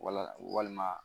Wala walima